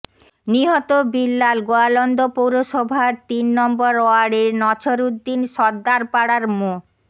নিহত বিল্লাল গোয়ালন্দ পৌরসভার তিন নম্বর ওয়ার্ডের নছরউদ্দিন সরদার পাড়ার মো